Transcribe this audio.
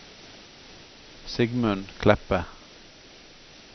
Sigmund Kleppe